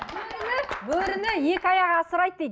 бөріні екі аяғы асырайды дейді